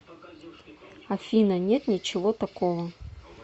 афина нет ничего такого